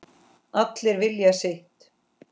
Allir vilja sitt